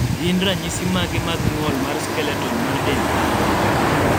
gin ranyisi mage mag ng'ol mar skeleton mar dend dhano